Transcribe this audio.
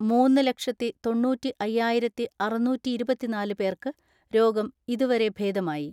മൂന്ന് ലക്ഷത്തിതൊണ്ണൂറ്റിഅയ്യായിരത്തിഅറുന്നൂറ്റിഇരുപത്തിനാല് പേർക്ക് രോഗം ഇതുവരെ ഭേദമായി.